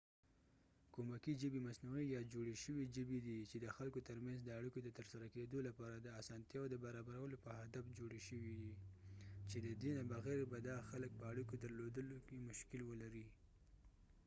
کومکي ژبې مصنوعي یا جوړې شوې ژبې دي چې د خلکو ترمنځ د اړیکو د ترسره کیدو لپاره د اسانتیاوو د برابرولو په هدف جوړې شوي چې ددې نه بغیر به دا خلک په اړیکو درلودلو کې مشکل ولري